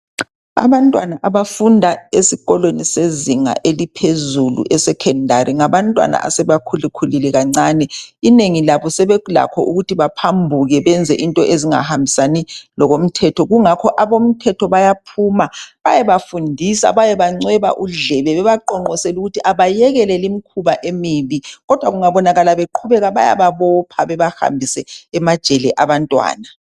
Abantwana abafunda esikolweni sezinga eliphezulu e secondary ngabantwana asebekhulakhulile kancana Inengi labo sebelakho ukuthi baphambuke benze izinto ezingahambisani lokomthetho Kungakho abomthetho bayaphuma bayebafundisa bayebancweba udlebe bebaqonqosele ukuthi abayekele limkhuba emibi .Kodwa kungabonakala beqhubeka bayababopha bebahambise ejele abantwana.